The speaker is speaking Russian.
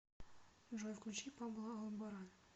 джой включи пабло алборан